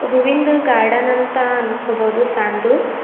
ಹೂವಿಂದು ಗಾರ್ಡನ್ ಅಂತ ಅಂದ್ಕೋಬಹುದು ಸಣ್ದು.